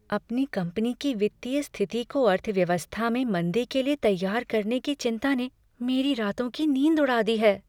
अपनी कंपनी की वित्तीय स्थिति को अर्थव्यवस्था में मंदी के लिए तैयार करने की चिंता ने मेरी रातों की नींद उड़ा दी है।